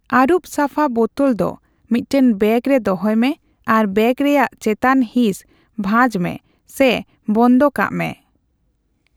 ᱟᱹᱨᱩᱵ ᱥᱟᱯᱷᱟ ᱵᱳᱛᱳᱞ ᱫᱚ ᱢᱤᱫᱴᱟᱝ ᱵᱮᱜᱽ ᱨᱮ ᱫᱚᱦᱚᱭ ᱢᱮ ᱟᱨ ᱵᱮᱜᱽ ᱨᱮᱭᱟᱜ ᱪᱮᱛᱟᱱ ᱦᱤᱸᱥ ᱵᱷᱟᱸᱡᱽ ᱢᱮ ᱥᱮ ᱵᱚᱱᱫᱚ ᱠᱟᱜ ᱢᱮ ᱾